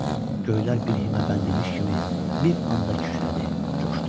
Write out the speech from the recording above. Göylər bir himə bəndimiş kimi bir anda kükrədi, coşdu.